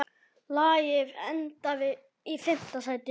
Lagið endaði í fimmta sæti.